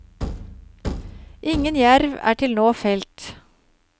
Ingen jerv er til nå felt.